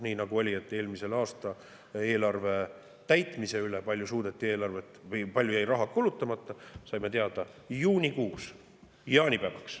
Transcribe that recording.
Nii nagu oli, kui eelmise aasta eelarve täitmise kohta, selle kohta, kui palju suudeti eelarvet või kui palju jäi raha kulutamata, saime teada juunikuus, jaanipäevaks.